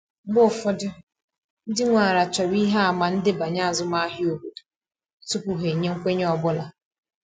Mgbe ụfọdụ, ndị nwe ala chọrọ ihe àmà ndebanye azụmahịa obodo tupu ha enye nkwenye ọ bụla.